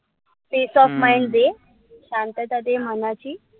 Peace of mind शांतता दे मनाची.